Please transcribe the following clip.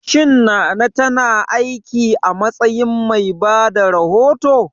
Shin Nana ta na aiki a matsayin mai bada rahoto?